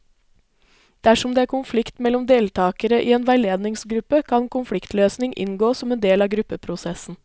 Dersom det er konflikt mellom deltakere i en veiledningsgruppe, kan konfliktløsning inngå som en del av gruppeprosessen.